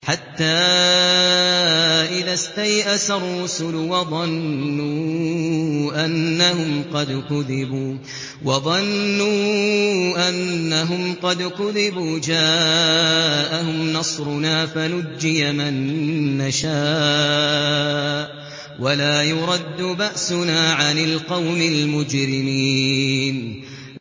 حَتَّىٰ إِذَا اسْتَيْأَسَ الرُّسُلُ وَظَنُّوا أَنَّهُمْ قَدْ كُذِبُوا جَاءَهُمْ نَصْرُنَا فَنُجِّيَ مَن نَّشَاءُ ۖ وَلَا يُرَدُّ بَأْسُنَا عَنِ الْقَوْمِ الْمُجْرِمِينَ